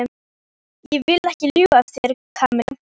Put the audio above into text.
Ég vil ekki ljúga að þér, Kamilla.